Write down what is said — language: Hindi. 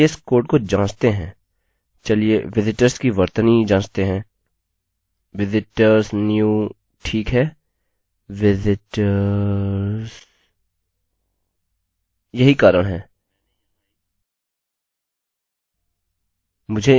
चलिए विजिटर्स की वर्तनी जाँचते हैं visitors new ठीक है visitors